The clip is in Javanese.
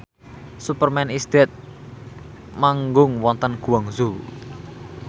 Superman is Dead manggung wonten Guangzhou